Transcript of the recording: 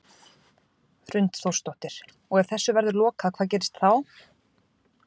Hrund Þórsdóttir: Og ef þessu verður lokað hvað gerist þá?